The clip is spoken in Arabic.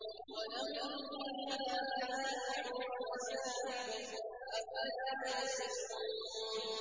وَلَهُمْ فِيهَا مَنَافِعُ وَمَشَارِبُ ۖ أَفَلَا يَشْكُرُونَ